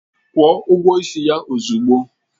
Kwuo ụgwọ ịsị ya ozugbo!